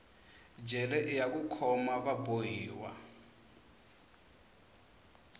jele iya ku khoma va bohiwa